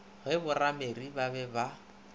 ge borameriri ba be ba